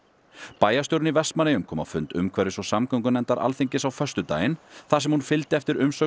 bæjarstjórinn í Vestmannaeyjum kom á fund umhverfis og samgöngunefndar Alþingis á föstudaginn þar sem hún fylgdi eftir umsögn